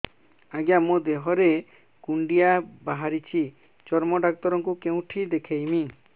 ଆଜ୍ଞା ମୋ ଦେହ ରେ କୁଣ୍ଡିଆ ବାହାରିଛି ଚର୍ମ ଡାକ୍ତର ଙ୍କୁ କେଉଁଠି ଦେଖେଇମି